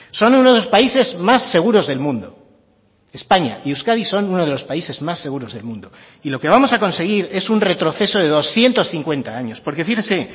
son uno de los países más seguros del mundo españa y euskadi son uno de los países más seguros del mundo y lo que vamos a conseguir es un retroceso de doscientos cincuenta años porque fíjese